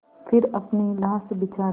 फिर अपनी लाश बिछा दी